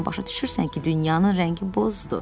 Başa düşürsən ki, dünyanın rəngi bozdur.